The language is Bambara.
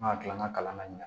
An ka kila an ka kalan na